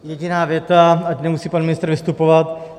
Jediná věc, ať nemusí pan ministr vystupovat.